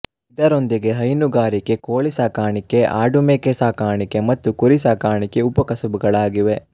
ಇದರೊಂದಿಗೆ ಹೈನುಗಾರಿಕೆ ಕೋಳಿ ಸಾಕಾಣಿಕೆ ಆಡುಮೇಕೆ ಸಾಕಾಣಿಕೆ ಮತ್ತು ಕುರಿ ಸಾಕಾಣಿಕೆ ಉಪಕಸುಬುಗಳಾಗಿವೆ